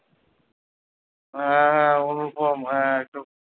হ্যাঁ হ্যাঁ অনুপম হ্যাঁ